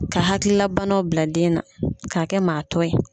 Ka hakililabana bila den na k'a kɛ maa to ye.